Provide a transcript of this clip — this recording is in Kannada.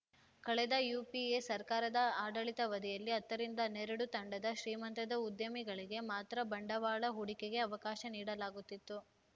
ಕಳೆದ ಯುಪಿಎ ಸರ್ಕಾರದ ಆಡಳಿತವಧಿಯಲ್ಲಿ ಹತ್ತರಿಂದ ಹನ್ನೆರಡು ತಂಡದ ಶ್ರೀಮಂತ ಉದ್ಯಮಿಗಳಿಗೆ ಮಾತ್ರ ಬಂಡವಾಳ ಹೂಡಿಕೆಗೆ ಅವಕಾಶ ನೀಡಲಾಗುತ್ತಿತ್ತು